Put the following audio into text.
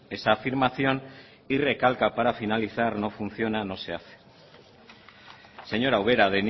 esa afirmación y recalca para finalizar no funciona no se hace señora ubera